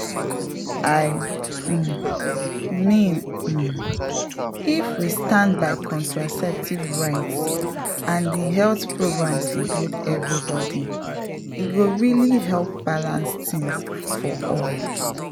i um mean um if we stand by contraceptive rights and the health programs include everybody e go really help balance things for all.